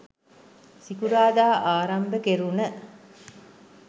සිකුරාදා ආරම්භ කෙරුණ